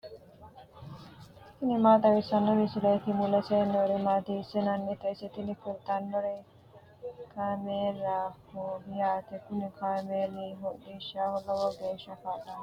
tini maa xawissanno misileeti ? mulese noori maati ? hiissinannite ise ? tini kultannori kaameelaho yaate kuni kaameeli hodhishshaho lowo geeshsha kaa'lannoho.